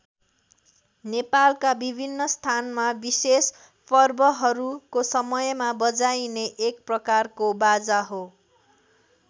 नेपालका विभिन्न स्थानमा विशेष पर्वहरूको समयमा बजाइने एक प्रकारको बाजा हो।